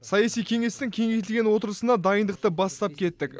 саяси кеңестің кеңейтілген отырысына дайындықты бастап кеттік